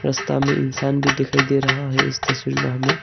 रास्ता में इंसान भी दिखाई दे रहा है इस तस्वीर में हमे।